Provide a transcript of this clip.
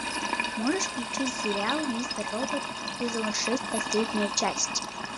можешь включить сериал мистер робот сезон шесть последняя часть